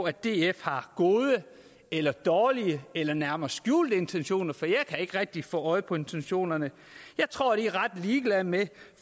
at df har gode eller dårlige eller nærmere skjulte intentioner for jeg kan ikke rigtig få øje på intentionerne jeg tror de er ret ligeglade med